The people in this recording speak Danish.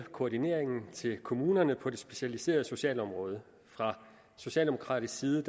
koordineringen til kommunerne på det specialiserede socialområde fra socialdemokratisk side